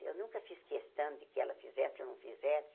Eu nunca fiz questão de que ela fizesse ou não fizesse.